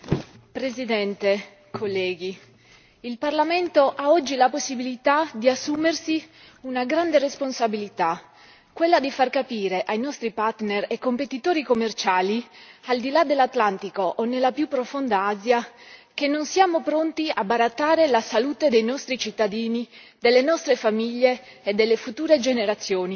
Signor Presidente, onorevoli colleghi, il Parlamento ha oggi la possibilità di assumersi una grande responsabilità quella di far capire ai nostri partner e competitori commerciali, al di là dell'Atlantico o nella più profonda Asia, che non siamo pronti a barattare la salute dei nostri cittadini, delle nostre famiglie e delle future generazioni,